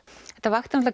þetta vakti